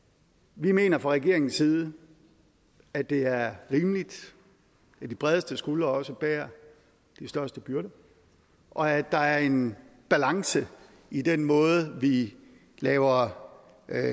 vi mener fra regeringens side at det er rimeligt at de bredeste skuldre også bærer de største byrder og at der er en balance i den måde vi laver